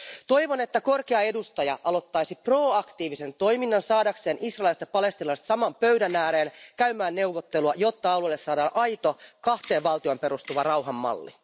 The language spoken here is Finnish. Toivon, että korkea edustaja aloittaisi proaktiivisen toiminnan saadakseen israelilaiset ja palestiinalaiset saman pöydän ääreen käymään neuvotteluja, jotta alueelle saadaan aito kahteen valtioon perustuva rauhan malli.